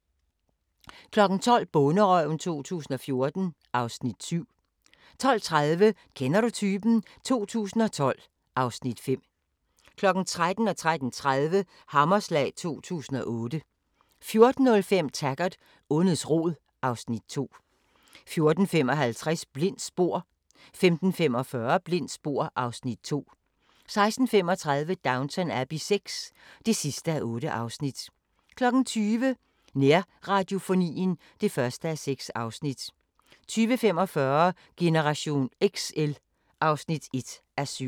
12:00: Bonderøven 2014 (Afs. 7) 12:30: Kender du typen? 2012 (Afs. 5) 13:00: Hammerslag 2008 13:30: Hammerslag 2008 14:05: Taggart: Ondets rod (Afs. 2) 14:55: Blindt spor 15:45: Blindt spor (Afs. 2) 16:35: Downton Abbey VI (8:8) 20:00: Nærradiofonien (1:6) 20:45: Generation XL (1:7)